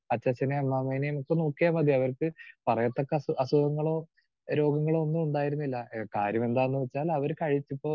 Speaker 2 അച്ചാച്ഛനേം അമ്മാമ്മേനേം ഒക്കെ നോക്കിയാൽ മതി അവർക്ക് പറയത്തക്ക അസു അസുഖങ്ങളോ രോഗങ്ങളോ ഒന്നുമുണ്ടായിരുന്നില്ല. കാര്യം എന്താണെന്ന് വെച്ചാൽ അവർ കഴിക്കുമ്പോൾ